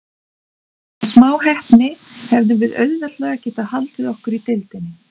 Með smá heppni hefðum við auðveldlega getað haldið okkur í deildinni.